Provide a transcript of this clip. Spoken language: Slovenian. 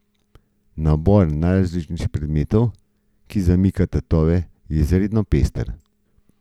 Nabor najrazličnejših predmetov, ki zamika tatove, je izredno pester.